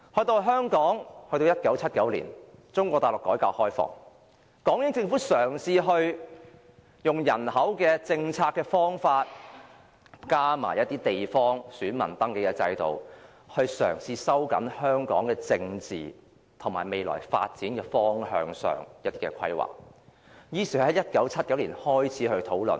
到了1979年，中國大陸改革開放，港英政府嘗試透過人口政策和地方選民登記制度，加強規劃香港的政治發展方向，於是在1979年開始進行討論。